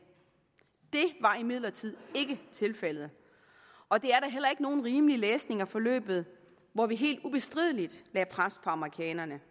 det var imidlertid ikke tilfældet og det er da heller ikke nogen rimelig læsning af forløbet hvor vi helt ubestrideligt lagde pres på amerikanerne